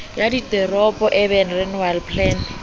ya diteropo urban renewal plan